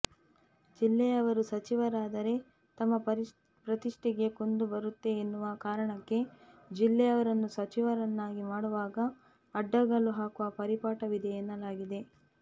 ಜಿಲ್ಲೆಯವರು ಸಚಿವರಾದರೆ ತಮ್ಮ ಪ್ರತಿಷ್ಠೆಗೆ ಕುಂದು ಬರುತ್ತೆ ಎನ್ನುವ ಕಾರಣಕ್ಕೆ ಜಿಲ್ಲೆಯವರನ್ನು ಸಚಿವರನ್ನಾಗಿ ಮಾಡುವಾಗ ಅಡ್ಡಗಾಲು ಹಾಕುವ ಪರಿಪಾಠವಿದೆ ಎನ್ನಲಾಗಿದೆ